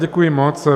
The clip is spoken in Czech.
Děkuji moc.